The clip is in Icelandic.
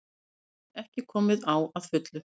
Rafmagn ekki komið á að fullu